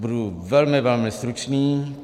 Budu velmi, velmi stručný.